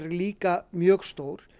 líka mjög stór